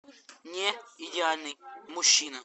не идеальный мужчина